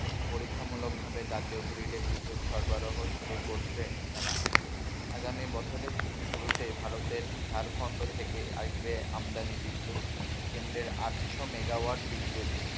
পরীক্ষামূলক ভাবে জাতীয় grid য়ে বিদ্যুৎ সরবরাহ শুরু করছে তারা। আগামী বছরের শুরুতে ভারতের ঝাড়খন্ড থেকে আসবে আমদানি বিদ্যুৎ কেন্দ্রের আটশো মেগাওয়াট বিদ্যুৎ,